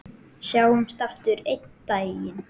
Sjáumst aftur einn daginn.